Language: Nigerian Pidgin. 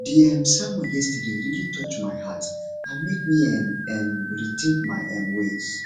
di um sermon yesterday really touch my heart and make me um um rethink my um ways